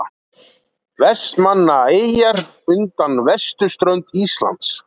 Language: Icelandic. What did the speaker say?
Vestmannaeyjar undan vesturströnd Íslands.